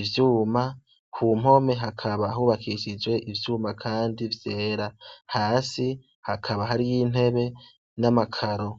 ivyuma ku mpome hakaba hubakishijwe ivyuma, kandi vyera hasi hakaba hari y'intebe n'amakaro.